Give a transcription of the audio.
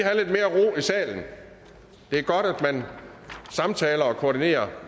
salen det er godt at man samtaler og koordinerer